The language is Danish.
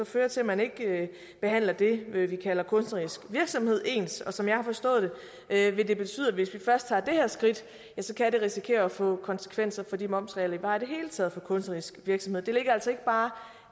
føre til at man ikke behandler det vi vi kalder kunstnerisk virksomhed ens og som jeg har forstået det vil det betyde at hvis vi først tager det her skridt kan det risikere at få konsekvenser for de momsregler der er i det hele taget for kunstnerisk virksomhed det ligger altså ikke bare